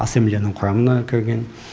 ассамблеяның құрамына кірген